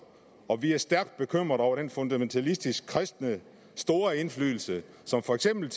og vi er stærkt bekymrede over den fundamentalistisk kristne store indflydelse som for eksempel